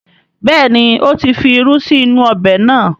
Bẹ́ẹ̀ni, ó ti fi irú sí inú ọbẹ̀ náà